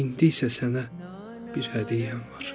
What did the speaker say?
İndi isə sənə bir hədiyyəm var.